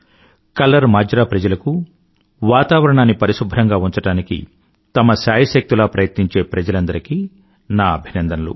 colour Majra ప్రజలకు వాతావరణాన్ని పరిశుభ్రంగా ఉంచడానికి తమ శాయశక్తులా ప్రయత్నించే ప్రజలందరికీ నా అభినందనలు